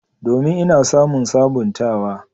Domin, Ina samun sabuntawa.